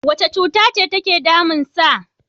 Wace cutace take damunsa?